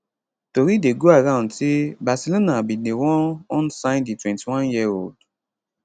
tori dey go around say barcelona bin dey wan wan sign di 21yearold